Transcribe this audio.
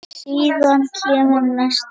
Síðan kemur næsti dagur.